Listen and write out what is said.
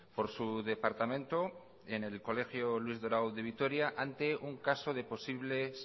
por su departamento en el colegio luis dorado de vitoria ante un caso de posibles